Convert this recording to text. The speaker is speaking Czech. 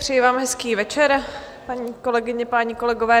Přeji vám hezký večer, paní kolegyně, páni kolegové.